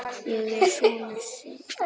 Ég er sonur Sylgju